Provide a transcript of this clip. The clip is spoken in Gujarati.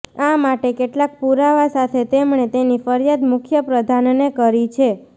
આ માટે કેટલાક પુરાવા સાથે તેમણે તેની ફરિયાદ મુખ્ય પ્રધાનને કરી છે